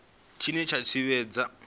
tshine dza tshi fhedza dzi